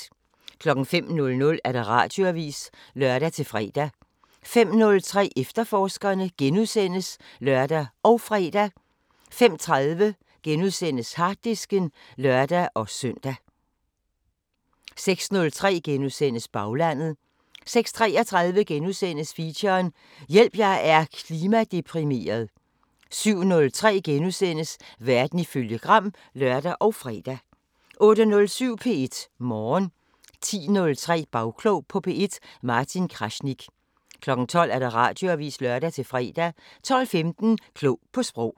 05:00: Radioavisen (lør-fre) 05:03: Efterforskerne *(lør og fre) 05:30: Harddisken *(lør-søn) 06:03: Baglandet * 06:33: Feature: Hjælp jeg er klimadeprimeret * 07:03: Verden ifølge Gram *(lør og fre) 08:07: P1 Morgen 10:03: Bagklog på P1: Martin Krasnik 12:00: Radioavisen (lør-fre) 12:15: Klog på Sprog